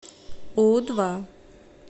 у два